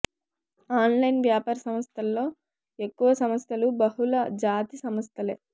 online వ్యాపార సంస్థలలో ఎక్కువ సంస్థలు బహుళ జాతి సంస్థలే